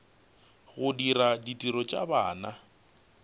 go dira ditiro tša bana